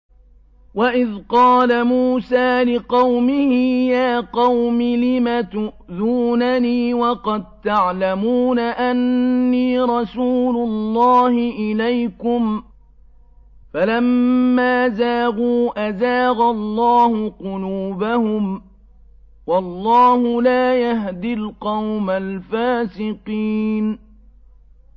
وَإِذْ قَالَ مُوسَىٰ لِقَوْمِهِ يَا قَوْمِ لِمَ تُؤْذُونَنِي وَقَد تَّعْلَمُونَ أَنِّي رَسُولُ اللَّهِ إِلَيْكُمْ ۖ فَلَمَّا زَاغُوا أَزَاغَ اللَّهُ قُلُوبَهُمْ ۚ وَاللَّهُ لَا يَهْدِي الْقَوْمَ الْفَاسِقِينَ